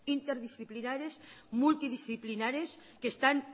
interdisciplinares multidisciplinares que están